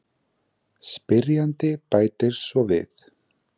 Spyrjandi bætir svo við: